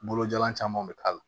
Bolojalan caman be k'a la